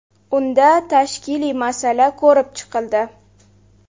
Unda tashkiliy masala ko‘rib chiqildi.